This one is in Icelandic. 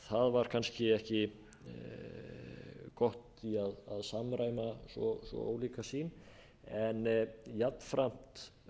það var kannski ekki gott að samræma svo ólíka sýn en jafnframt